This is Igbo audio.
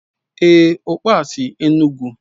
Èé, ọkpa a sy Enugu.